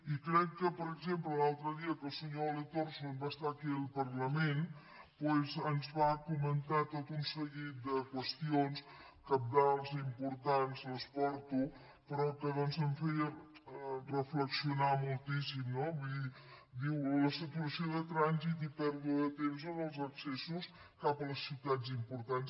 i crec que per exemple l’altre dia que el senyor ole torson va estar aquí al parlament doncs ens va comentar tot un seguit de qüestions cabdals importants les porto però que ens feia reflexionar moltíssim no vull dir diu la saturació de trànsit i pèrdua de temps en els accessos cap a les ciutats importants